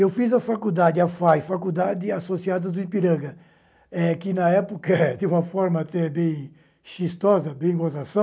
Eu fiz a faculdade, a FAI, Faculdade Associada do Ipiranga, eh que na época, de uma forma até bem xiistosa, bem gozação,